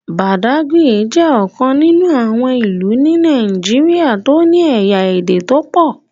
Bàdágìrì jẹ́ ọ̀kan nínú àwọn ìlú ni Nàìjíríà tó ní ẹ̀yà Ède tó pọ̀.